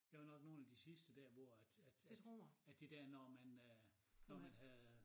Jeg var nok nogen af de sidste dér hvor at at at at det dér når man øh når man havde